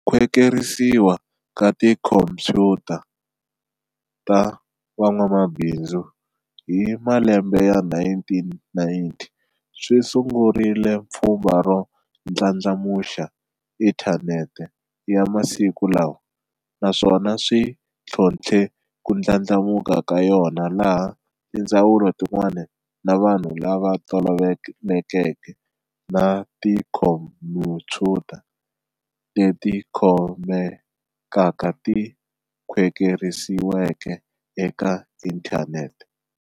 Khwekerisiwa ka tikhompuyuta ta van'wamabinzu hi malembe ya 1990, swi sungule pfumba ro ndlandlamuxa inthaneti ya masiku lawa, naswona swi thlonthle kundlandlamuka ka yona laha tindzawulo tin'wana na vanhu lava tolovelekeke na tikhompuyuta leti khomekaka ti khwekerisiweke eka inthaneti.